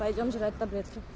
пойдём